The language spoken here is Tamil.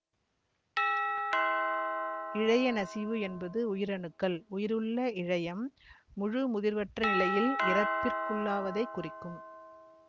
இழையநசிவு என்பது உயிரணுக்கள் உயிருள்ள இழையம் முழுமுதிர்வற்ற நிலையில் இறப்பிற்குள்ளாவதைக் குறிக்கும்